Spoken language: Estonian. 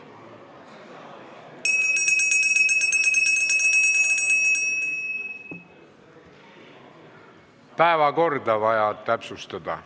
Päevakorda on vaja täpsustada.